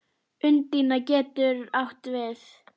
Undína getur átt við